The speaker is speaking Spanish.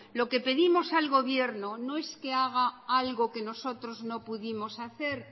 lo que pedimos al gobierno no es que haga algo que nosotros no pudimos hacer